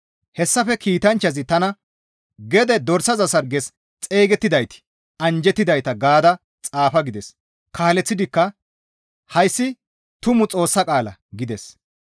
Hessafe kiitanchchazi tana, «Gede dorsaza sarges xeygettidayti anjjettidayta gaada xaafa» gides; kaaleththidikka, «Hayssi tumu Xoossa qaala» gides.